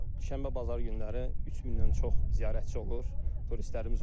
Şənbə-bazar günləri 3000-dən çox ziyarətçi olur, turistlərimiz olur.